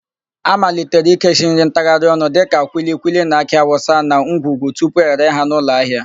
A malitere ikechi nri ntagharịọnụ dịka kwilikwili na akị awụsa na ngwungwu tupu ere ha n'ụlọahịa.